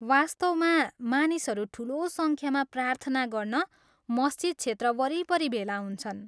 वास्तवमा, मानिसहरू ठुलो सङ्ख्यामा प्रार्थना गर्न मस्जिद क्षेत्र वरिपरि भेला हुन्छन्।